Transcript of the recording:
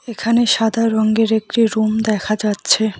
এখানে সাদা রঙ্গের একটি রুম দেখা যাচ্ছে।